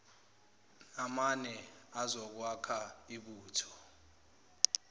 namane azokwakha ibutho